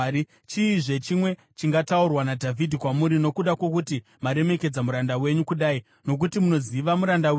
“Chiizve chimwe chingataurwa naDhavhidhi kwamuri nokuda kwokuti maremekedza muranda wenyu kudai? Nokuti munoziva muranda wenyu,